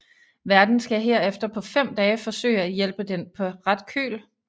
Værten skal herefter på fem dage forsøge at hjælpe den på ret køl